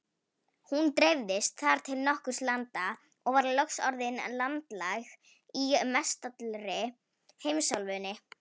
Hún dreifðist þar til nokkurra landa og var loks orðin landlæg í mestallri heimsálfunni.